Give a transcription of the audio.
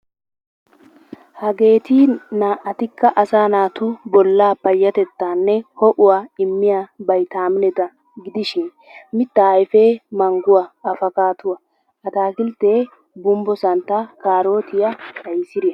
Hageeti naa''atikka asaa naatu bollaa payatettanne ho'uwa immiya baytamineeta gidishin mitaa ayfee mangguwa, abbokkaaduwa, ataakkiltee gumbbo santtaa, kaarootiya, qaysiriya.